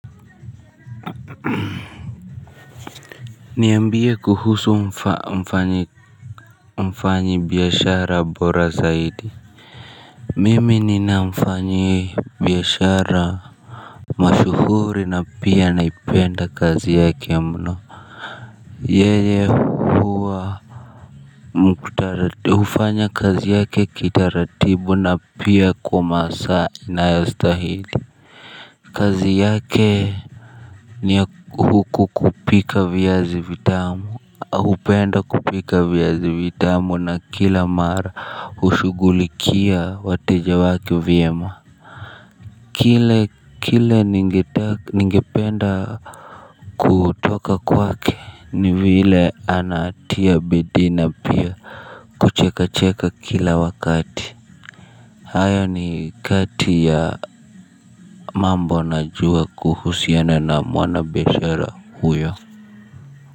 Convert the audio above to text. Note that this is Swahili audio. Niambie kuhusu mfanyi mfanyi biashara bora zaidi mimi ninamfanyi biashara mashuhuri na pia anaipenda kazi yake mno yeye hufanya kazi yake kitaratibu na pia kwa masaa inayostahili kazi yake. Ni ya kupika vyazi vitamu. Hupenda kupika viazi vitamu na kila mara hushughulikia wateja wake vyema. Kile kile ningependa kutoka kwake ni vile anatia bidii na pia kucheka cheka kila wakati. Hayo ni kati ya mambo najua kuhusiana na mwana biashara huyo.